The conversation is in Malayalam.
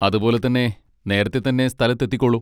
അതുപോലെ തന്നെ നേരെത്തെ തന്നെ സ്ഥലത്തെത്തിക്കോളൂ.